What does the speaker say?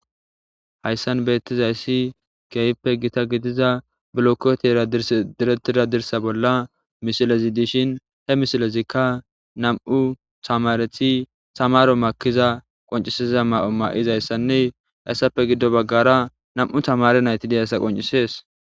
Hayissan betizayissi kehoppe gidiza bolokotera diretida dirsa bolla misilezikka nam'u tamareti tamaro makiza ma'o ma'izayissanne etappe gido bagara nam"u tamareti dizayissa qoncisses